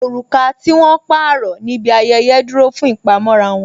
Oruka tí wón pààrọ̀ níbi ayẹyẹ dúró fún ìpamọ́ra wọn